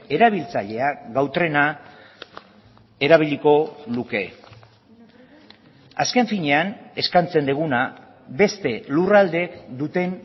erabiltzaileak gau trena erabiliko luke azken finean eskaintzen duguna beste lurraldeek duten